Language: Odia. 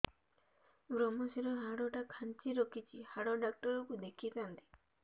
ଵ୍ରମଶିର ହାଡ଼ ଟା ଖାନ୍ଚି ରଖିଛି ହାଡ଼ ଡାକ୍ତର କୁ ଦେଖିଥାନ୍ତି